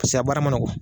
Paseke a baara ma nɔgɔn